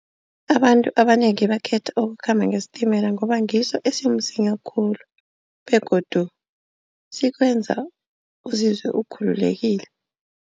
Abantu abanengi bakhetha ukukhamba ngesitimela ngoba ngiso esimsinya khulu begodu sikwenza uzizwe ukhululekile.